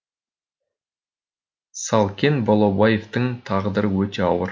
салкен балаубаевтың тағдыры өте ауыр